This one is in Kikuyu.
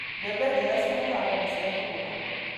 Mbembe njega cia kũhanda nĩ cia kũgũra.